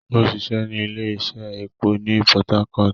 O ṣiṣẹ ni ile-iṣẹ épo ni Port Harcourt